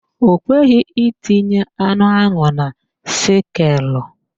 Ọ kweghị itinye anụ ahụ na skeelụ